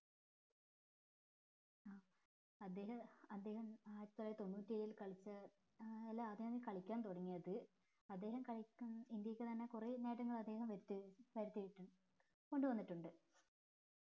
അദ്ദേഹം അദ്ദേഹം ആയിരത്തി തൊള്ളായിരത്തി തൊണ്ണൂറ്റി ഏഴിൽ കളിച്ച ഏർ എല്ലാ അന്നാണ് കളിക്കാൻ തുടങ്ങിയത് അദ്ദേഹം കളിക്കാൻ ഇന്ത്യക്ക് തന്നെ കൊറേ നേട്ടങ്ങൾ അദ്ദേഹം വരുത്തി വരുത്തിയിട്ടു കൊണ്ട് വന്നിട്ടുണ്ട്